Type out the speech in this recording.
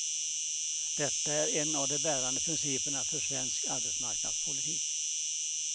Detta är en av de bärande principerna för svensk arbetsmarknadspolitik.